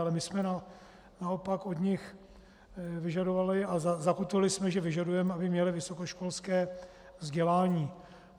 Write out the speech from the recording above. Ale my jsme naopak od nich vyžadovali a zakotvili jsme, že vyžadujeme, aby měly vysokoškolské vzdělání.